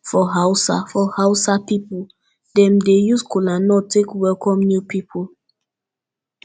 for hausa for hausa pipol dem dey use kolanut take welkom new pipol